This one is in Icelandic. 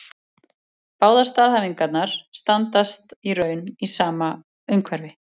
Báðar staðhæfingarnar standast í raun í sama umhverfi.